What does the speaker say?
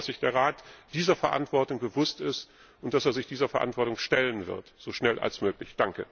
Ich hoffe, dass sich der Rat dieser Verantwortung bewusst ist und sich dieser Verantwortung stellen wird so schnell wie möglich!